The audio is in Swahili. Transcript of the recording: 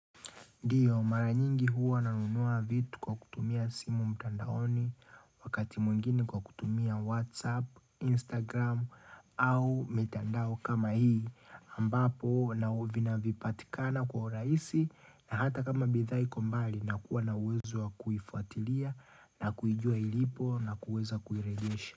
Ndiyo mara nyingi huwa nanunua vitu kwa kutumia simu mtandaoni, wakati mwingine kwa kutumia whatsapp, instagram au mitandao kama hii. Ambapo na vinapatikana kwa urahisi na hata kama bidhaa iko mbali na kuwa na uwezo wa kuifuatilia na kuijua ilipo na kuweza kuirejesha.